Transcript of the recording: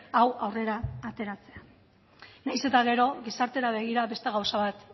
hau aurrera ateratzea nahiz eta gero gizartera begira beste gauza bat